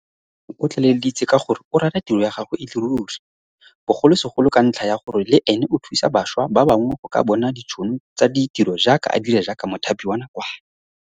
Temane o tlaleleditse ka gore o rata tiro ya gagwe e le ruri, bogolosegolo ka ntlha ya gore le ene o thusa bašwa ba bangwe go ka bona ditšhono tsa ditiro jaaka a dira jaaka mothapi wa nakwana.